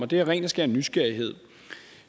det er af ren og skær nysgerrighed